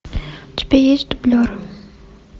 у тебя есть дублер